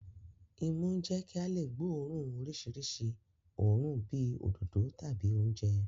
Imú ń jẹ́ kí a lè gbóòórùn oríṣiríṣi òórùn bíi òdòdó tàbí oúnjẹ